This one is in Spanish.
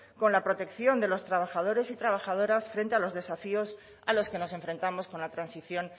con la protección de los trabajadores y trabajadoras frente a los desafíos a los que nos enfrentamos con la transición